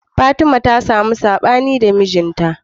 Fatima ta samu saɓani da mijin ta